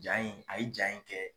Jaa in a yi jaa in kɛ